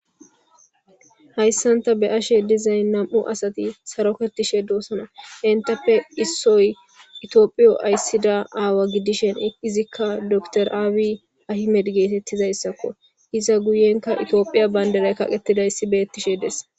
Haysan ta beyashe dizat nam'u asati sarotetishe doosna entappe issoy tophiyo aysida awa gidishin izika dokiteri abiy Ahmed getetizaysako iza guyenka tophiya bandiray kaqetidaysi betishe fees.